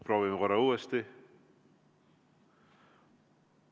Proovime korra uuesti.